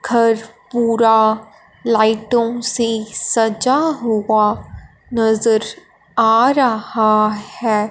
घर पूरा लाइटोंसे सजा हुआ नजर आ रहा हैं।